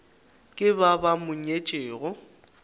ke ba ba mo nyetšego